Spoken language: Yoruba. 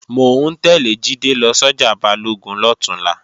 Mò ń tẹ́lẹ̀ Jídé lọ sọ́jà Balógun lọ̀túnla